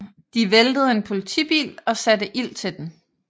De væltede en politibil og satte ild til den